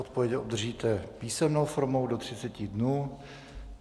Odpověď obdržíte písemnou formou do 30 dnů.